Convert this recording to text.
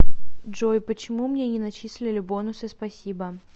джой почему мне не начислили бонусы спасибо